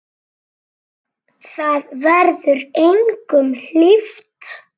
Það verður engum hlíft!